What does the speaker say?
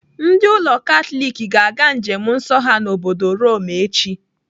Ndị ụlọ Katọlik ga-aga njem nsọ ha n'obodo Rome echi.